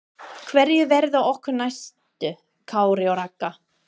Hverjir verða okkar næstu Kári og Raggi?